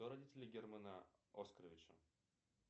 кто родители германа оскаровича